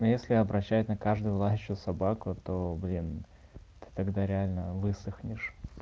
если обращать на каждую лающую собаку то блин ты тогда реально высохнешь